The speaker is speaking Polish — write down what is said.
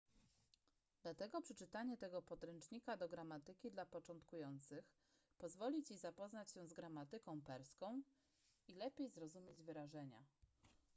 dlatego przeczytanie tego podręcznika do gramatyki dla początkujących pozwoli ci zapoznać się z gramatyką perską i lepiej zrozumieć wyrażenia